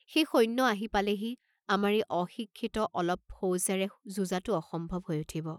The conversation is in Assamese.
সেই সৈন্য আহি পালেহি আমাৰ এই অশিক্ষিত অলপ ফৌজেৰে যুঁজাটো অসম্ভৱ হৈ উঠিব।